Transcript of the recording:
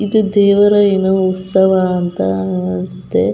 ಇದು ದೇವರ ಏನೋ ಉತ್ಸವ ಅಂತ ಅನ್ಸುತ್ತೆ .